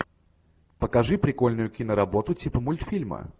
покажи прикольную киноработу типа мультфильма